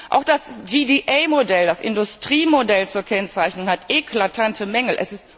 Auch das GDA Modell, das Industriemodell zur Kennzeichnung, hat eklatante Mängel.